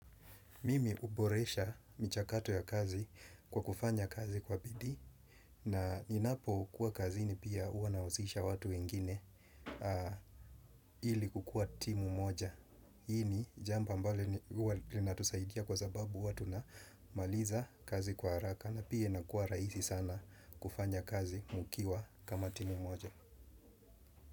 Mimi huboresha michakato ya kazi kwa kufanya kazi kwa bidii na ninapokuwa kazini pia huwa nahusisha watu wengine ili kukuwa timu moja. Hii ni jambo ambalo huwa linatusaidia kwa sababu huwa tunamaliza kazi kwa haraka na pia inakuwa rahisi sana kufanya kazi mkiwa kama timu moja.